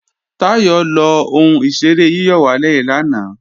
Táyọ̀ lọ ohun ìṣeré yíyọ̀wálè lanay